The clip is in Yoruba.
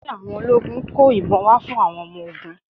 Olórí àwọn ológun kó ìbọn fún àwọn ọmọ ogún.